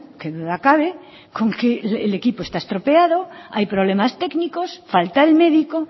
qué duda cabe con que el equipo está estropeado hay problemas técnicos falta el médico